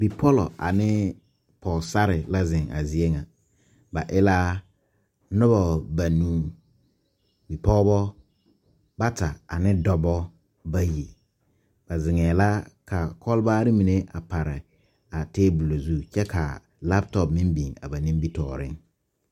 Bipɔllɔ ane ɔɔsarre la zeŋ a zie ŋa ba e la noba banuu bipɔgeba bata ane dɔbɔ bayi ba zeŋɛɛ la ka kɔlbaare mine a pare a teebole zu kyɛ ka laatɔpo biŋ ba nimitɔɔreŋ.